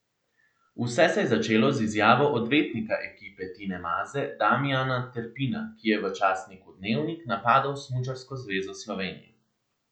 Vse se je začelo z izjavo odvetnika ekipe Tine Maze Damijana Terpina, ki je v časniku Dnevnik napadel Smučarsko zvezo Slovenije.